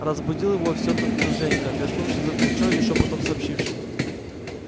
разбудил его всё тот же женька тряхнувший за плечо и шёпотом сообщивший